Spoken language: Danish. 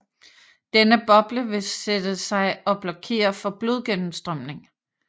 Denne boble vil sætte sig og blokere for blodgennemstrømning